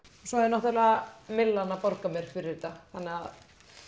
svo er náttúrulega Myllan að borga mér fyrir þetta af að